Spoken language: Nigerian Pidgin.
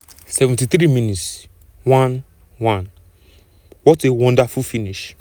ablie jallow latch on to um an inch-perfect cross into di box and drill a um low shot into di bottom right corner.